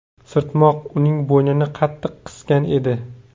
Sirtmoq uning bo‘ynini qattiq qisgan edi.